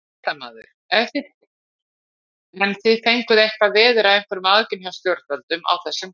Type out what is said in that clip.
Fréttamaður: En fenguð þið eitthvað veður af einhverjum aðgerðum hjá stjórnvöldum á þessum fundi?